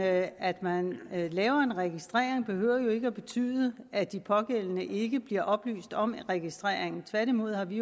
at at man laver en registrering behøver jo ikke betyde at de pågældende ikke bliver oplyst om registreringen tværtimod har vi